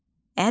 Ədalət.